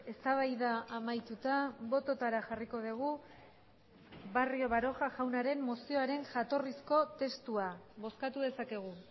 eztabaida amaituta bototara jarriko dugu barrio baroja jaunaren mozioaren jatorrizko testua bozkatu dezakegu